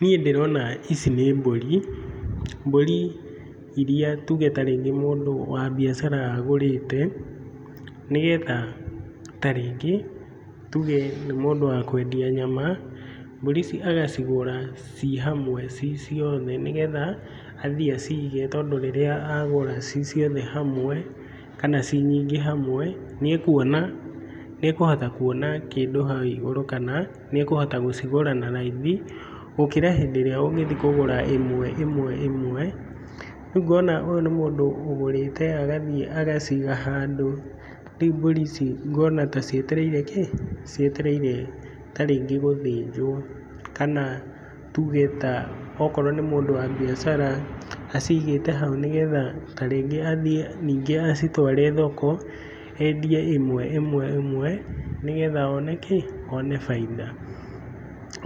Niĩ ndĩrona ici nĩ mbũri, mbũri iria tuge ta rĩngĩ mũndũ wa biacara agũrĩte, nĩgetha ta rĩngĩ tuge nĩ mũndũ wa kwendia nyama, mbũri ici agacigũra ciĩ hamwe ciĩ ciothe nĩ getha athiĩ acige tondũ rĩrĩa agũra ciĩ ciothe hamwe, kana ciĩ nyingĩ hamwe, nĩ ekũona, nĩ ekũhota kuona kĩndũ hau igũrũ, kana nĩ ekũhota gũcigũra na raithi gũkĩra hĩndĩ ĩrĩa ũngĩthiĩ gũcigũra ĩmwe ĩmwe ĩmwe. Rĩu ngona ũyũ nĩ mũndũ ũgũrĩte agathiĩ agaciga handũ, rĩu mbũri ici ngona ta cietereire kĩĩ? Cietereire ta rĩngĩ gũthĩnjwo, kana tuge ta okorwo nĩ mũndũ wa biacara, acigĩte hau nĩgetha ta rĩngĩ athiĩ nĩngĩ acitware thoko, endie ĩmwe ĩmwe ĩmwe nĩgetha one kĩĩ? One bainda.